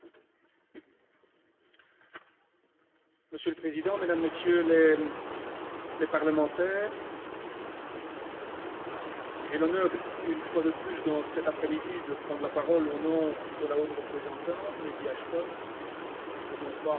Monsieur le Président, Mesdames, Messieurs les parlementaires, j'ai l'honneur, une fois de plus, cet après midi, de prendre la parole au nom de la haute représentante, Lady Ashton, et non pas au nom du Conseil, comme le tableau l'indique.